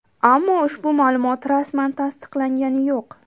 Ammo ushbu ma’lumot rasman tasdiqlangani yo‘q.